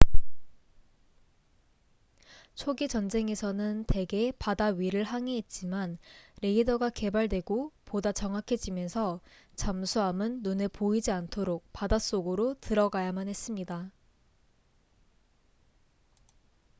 초기 전쟁에서는 대개 바다 위를 항해했지만 레이더가 개발되고 보다 정확해지면서 잠수함은 눈에 보이지 않도록 바닷속으로 들어가야만 했습니다